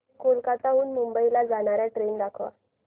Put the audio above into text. कोलकाता हून मुंबई ला जाणार्या ट्रेन दाखवा